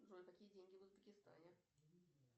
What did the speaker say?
джой какие деньги в узбекистане